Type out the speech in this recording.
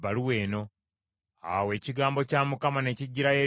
Awo ekigambo kya Mukama ne kijjira Yeremiya nti,